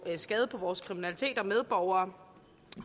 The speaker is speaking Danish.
skade på vores medborgere